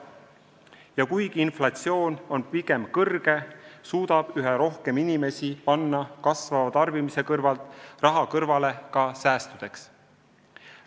Ja kuigi inflatsioon on pigem kõrge, suudab üha rohkem inimesi kasvava tarbimise kõrvalt raha säästudeks kõrvale panna.